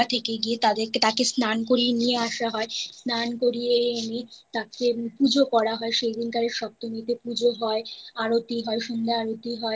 গঙ্গা থেকে গিয়ে তাদের তাকে স্নান করিয়ে নিয়ে আসা হয় স্নান করিয়ে এনে তাকে পুজো করা হয় সেই দিনকরে সপ্তমীতে পুজো হয় আরতি হয় সন্ধ্যা